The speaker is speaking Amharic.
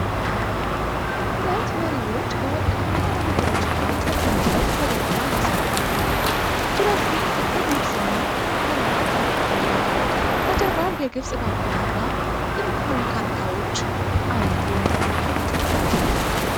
ሁለት መሪዎች በወርቃማ ወንበሮች ላይ ተቀምጠው ፈገግታ ያሳያሉ ። ሁለቱም ጥቁር ልብስና ክራባት አድርገዋል። በጀርባው የግብፅ ባንዲራና ጥንታዊ ካርታዎች አሉ።